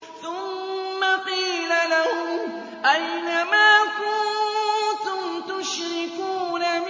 ثُمَّ قِيلَ لَهُمْ أَيْنَ مَا كُنتُمْ تُشْرِكُونَ